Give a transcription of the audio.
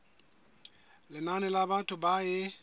lenane la batho ba e